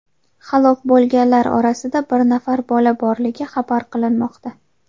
Halok bo‘lganlar orasida bir nafar bola borligi xabar qilinmoqda.